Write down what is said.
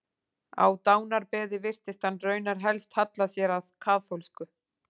Á dánarbeði virtist hann raunar helst halla sér að kaþólsku.